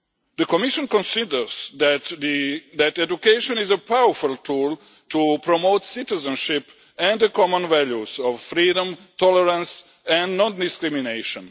The Commission considers that education is a powerful tool to promote citizenship and the common values of freedom, tolerance and non discrimination.